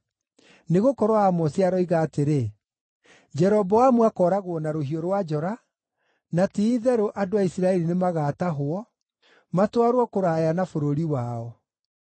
Nĩgũkorwo Amosi aroiga atĩrĩ: “ ‘Jeroboamu akooragwo na rũhiũ rwa njora, na ti-itherũ andũ a Isiraeli nĩmagatahwo, matwarwo kũraya na bũrũri wao.’ ”